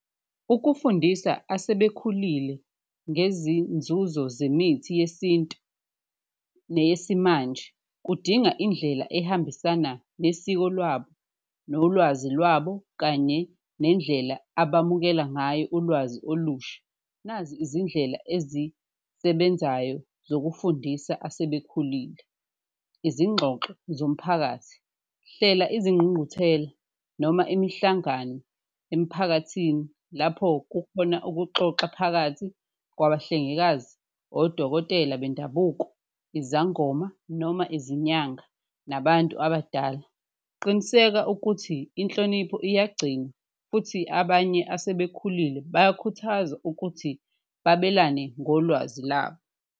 Ukufundisa asebekhulile ngezinzuzo zemithi yesintu neyesimanje kudinga indlela ehambisana nesiko lwabo, nolwazi lwabo kanye nendlela abamukela ngayo ulwazi olusha, nazi izindlela asebenzayo zokufundisa asebekhulile. Izingxoxo zomphakathi, hlela izinqunquthela noma imihlangano emphakathini lapho kukhona ukuxoxa phakathi kwabahlengikazi, odokotela bendabuko, izangoma noma izinyanga, nabantu abadala. Qiniseka ukuthi inhlonipho eyagcinwa futhi abanye asebekhulile bayakhuthazwa ukuthi babelane ngolwazi labo.